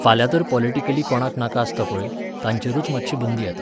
फाल्यां तर, पॉलिटिकली कोणाक नाका आसता पळय, तांचेरूच मातशी बंदी येता.